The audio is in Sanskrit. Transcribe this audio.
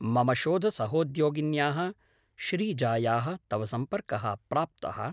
मम शोधसहोद्योगिन्याः श्रीजायाः तव सम्पर्कः प्राप्तः।